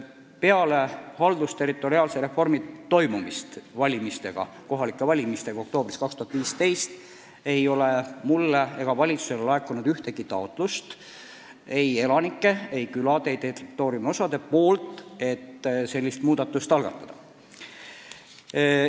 Peale haldusterritoriaalse reformi toimumist, peale kohalikke valimisi oktoobris 2017 ei ole mulle ega valitsusele laekunud ühtegi taotlust ei elanikelt, ei küladelt, ei mingitelt territooriumiosadelt selline muudatus algatada.